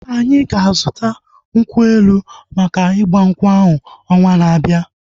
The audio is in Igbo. Anyị ga-azuta nkwụ elu maka igbankwu ahu ọnwaa na-abia